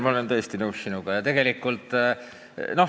Jah, Helmen, ma olen sinuga täiesti nõus.